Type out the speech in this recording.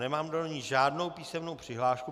Nemám do ní žádnou písemnou přihlášku.